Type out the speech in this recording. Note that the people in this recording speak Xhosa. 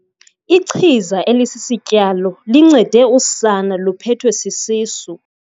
Ichiza elisisityalo lincede usana liphethwe sisisu.